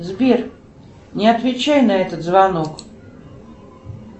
сбер не отвечай на этот звонок